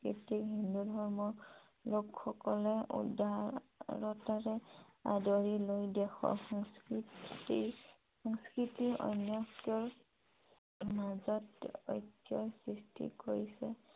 সাংস্কৃতিক হিন্দু ধৰ্মৰ লোক সকলে উদাৰতাৰে আদৰি লৈ দেশৰ সংস্কৃতিৰ অনৈক্য়ৰ মাজত ঐক্য়ৰ সৃষ্টি কৰিছে ।